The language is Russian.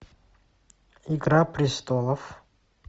игра престолов